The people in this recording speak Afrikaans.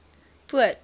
poot